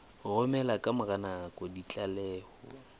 romela ka mora nako ditlaleho